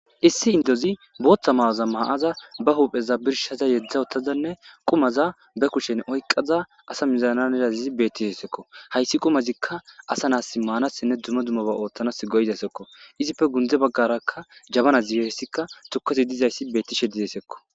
Issi indozi bootta ma'aza ma'aza ba huupheza birshaza yedzdza ottazanne qumaza be kushen oyqaza asa mizananedazizi bettishesekko hayssi qumazikka asa naas maanasinne dumo dummoba ooththanas goydasekko izipfe gundze baggarakka jabana zigessikka tukazi dizayssi beettishe didesekko.